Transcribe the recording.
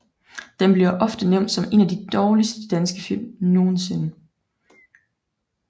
Den bliver ofte nævnt som en af de dårligste danske film nogensinde